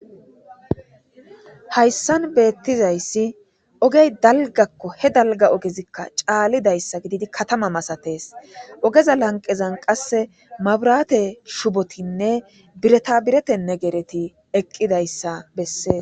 Hayssan betizayssi ogge dalggakko. he dalgga oggezikka calidayssa gididi katama misattes. Oggeza lanqezzan qase mabrate shubotinne bireta birette negerethi eqqidayssa besses.